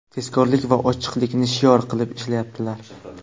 tezkorlik va ochiqlikni shior qilib ishlayaptilar.